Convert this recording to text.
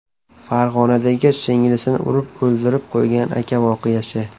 Farg‘onadagi singlisini urib o‘ldirib qo‘ygan aka voqeasi.